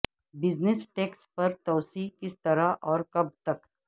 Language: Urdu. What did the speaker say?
بزنس ٹیکس پر توسیع کس طرح اور کب تک